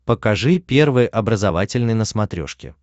покажи первый образовательный на смотрешке